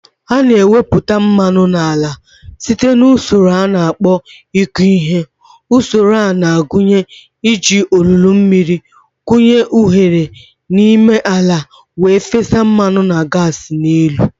A na-ewepụta mmanụ n'ala site na usoro a na-akpọ ịkụ ihe. Usoro a na-agụnye iji olulu mmiri kụnye oghere n'ime ala wee fesa mmanụ na gas n'elu.